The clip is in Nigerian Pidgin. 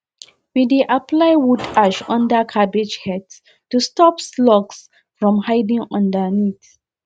we dey apply wood ash under cabbage heads to stop slugs from hiding underneath